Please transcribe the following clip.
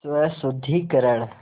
स्वशुद्धिकरण